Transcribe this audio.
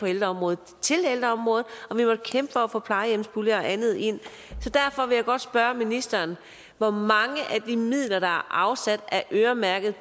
ældreområdet og vi måtte kæmpe for at få plejehjemspuljer og andet ind derfor vil jeg godt spørge ministeren hvor mange af de midler der er afsat er øremærket